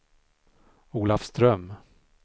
Olafström